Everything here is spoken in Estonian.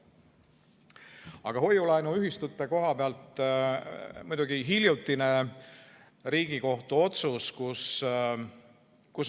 Aga hoiu-laenuühistutega seoses muidugi hiljutine Riigikogu otsus.